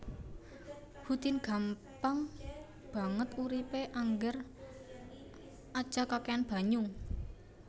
Who tin gampang banget uripe angger aja kakehan banyu